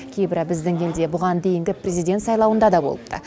кейбірі біздің елде бұған дейінгі президент сайлауында да болыпты